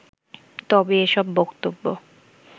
তবে এসব বক্তব্য